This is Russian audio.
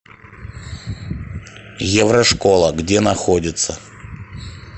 еврошкола где находится